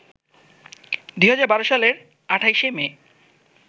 ২০১২ সালের ২৮শে মে